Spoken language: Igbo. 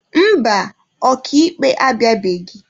Mba, ọka ikpe abịabeghị.